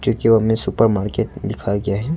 जो हमें super market दिखाया गया है।